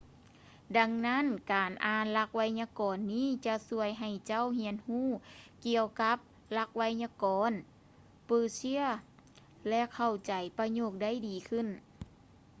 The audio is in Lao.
ດັ່ງນັ້ນ ການອ່ານຫຼັກໄວຍາກອນນີ້ຈະຊ່ວຍໃຫ້ເຈົ້າຮຽນຮູ້ກ່ຽວກັບຫຼັກໄວຍາກອນເປີເຊຍ ແລະ ເຂົ້າໃຈປະໂຫຍກໄດ້ດີຂຶ້ນ